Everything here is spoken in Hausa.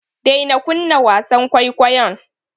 Daina kunna wasan kwaikwayon.